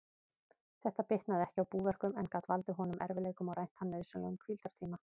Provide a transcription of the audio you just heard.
Þetta bitnaði ekki á búverkum, en gat valdið honum erfiðleikum og rænt hann nauðsynlegum hvíldartíma.